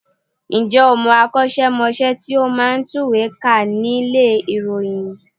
Ǹjẹ́ o mọ akọ́ṣẹ́mọṣẹ́ tí ó máa ń tùwèé kà nílé ìròyìn?